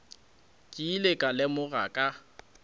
ke ile ka lemoga ka